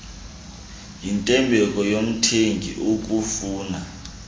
yintembeko yomthengi ukufuna